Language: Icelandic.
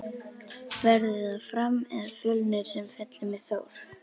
Verður það Fram eða Fjölnir sem fellur með Þór?